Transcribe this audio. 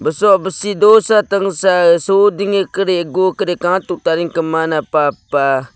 soh bvsi dosa tvngsa soh dvnge karkv tianka mianka pah pah.